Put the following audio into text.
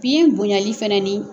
Biyɛn bonɲali fananin